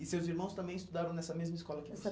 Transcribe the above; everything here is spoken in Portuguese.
E seus irmãos também estudaram nessa mesma escola que você?